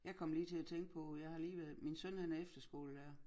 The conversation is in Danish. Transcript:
Jeg kom lige til at tænke på jeg har lige været min søn han er efterskolelærer